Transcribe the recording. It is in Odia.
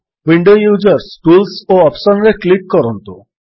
ୱିଣ୍ଡୋ ୟୁଜର୍ସ ଟୁଲ୍ସ ଓ ଅପ୍ସନ୍ ରେ କ୍ଲିକ୍ କରନ୍ତୁ